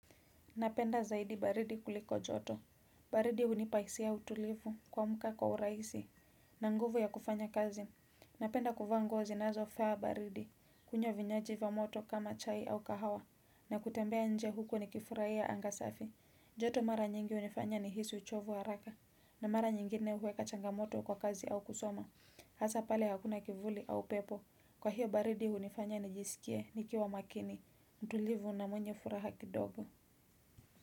Napenda zaidi baridi kuliko joto, baridi hunipa hisia ya utulivu kuamka kwa urahisi, na nguvu ya kufanya kazi, napenda kuvaa nuo zinazofaa baridi, kunywa vinywaji va moto kama chai au kahawa, na kutembea nje huku nikifurahia anga safi, joto mara nyingi hunifanya nihisi uchovu wa haraka, na mara nyingine huweka changamoto kwa kazi au kusoma, hasa pale hakuna kivuli au upepo, kwa hiyo baridi hunifanya nijisikie nikiwa makini, mtulivu na mwenye furaha kidogo.